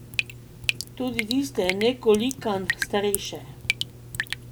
Tudi tiste nekolikanj starejše.